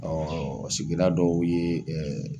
sigida dɔw yeee